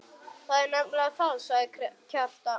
Það er nefnilega það, sagði Kjartan.